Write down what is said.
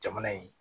Jamana in